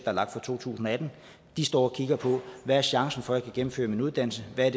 er lagt for to tusind og atten de står og kigger på hvad er chancen for at jeg kan gennemføre en uddannelse hvad